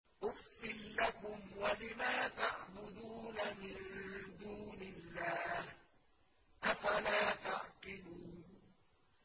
أُفٍّ لَّكُمْ وَلِمَا تَعْبُدُونَ مِن دُونِ اللَّهِ ۖ أَفَلَا تَعْقِلُونَ